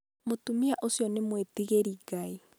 mũtumia ũcio nĩ mũĩtigĩri Ngai.